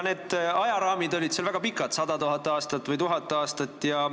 Need ajaraamid olid seal väga laiad, 100 000 aastat või 1000 aastat.